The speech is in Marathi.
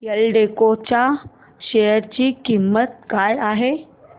एल्डेको च्या शेअर ची किंमत काय आहे